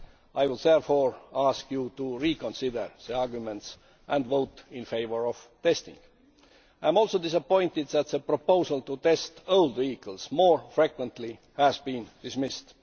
I would therefore ask you to reconsider the arguments and vote in favour of testing. I am also disappointed that the proposal to test old vehicles more frequently has been dismissed.